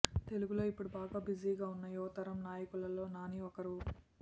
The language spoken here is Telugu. తెలుగులో ఇప్పుడు బాగా బిజీగా ఉన్న యువతరం నాయకులలో నాని ఒకరు